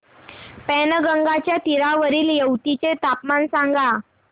पैनगंगेच्या तीरावरील येवती चे तापमान सांगा